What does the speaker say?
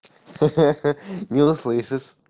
хи-хи-хи не услышишь